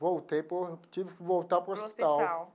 Voltei, por tive que voltar para o hospital.